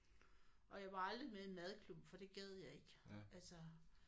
Og jeg var aldrig med i en madklub for det gad jeg ikke altså